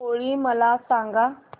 होळी मला सांगा